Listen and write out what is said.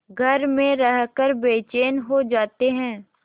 घर में रहकर बेचैन हो जाते हैं